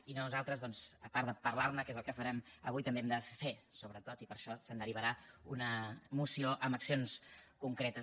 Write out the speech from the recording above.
i nosaltres doncs a part de parlar ne que és el que farem avui també hem de fer sobretot i per això se’n derivarà una moció amb accions concretes